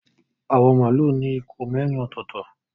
Awọn malu ní ikùn mérin ototo.